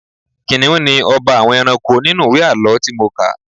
Kìnnìún ni ọba àwọn ẹranko nínú ìwé àlọ́ tí mo kà.